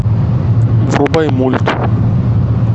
врубай мульт